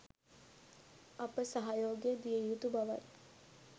අප සහයෝගය දිය යුතු බවයි.